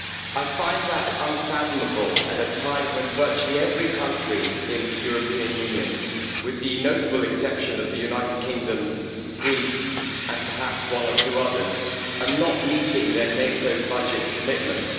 I find this unfathomable at a time when virtually every country in the European Union with the notable exceptions of the United Kingdom, Greece, and perhaps one or two others is not meeting their NATO budget commitments.